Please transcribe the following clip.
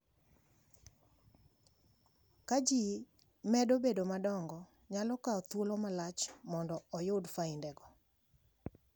Ka ji medo bedo madongo, nyalo kawo thuolo malach mondo oyud faindego.